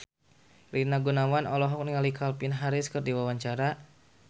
Rina Gunawan olohok ningali Calvin Harris keur diwawancara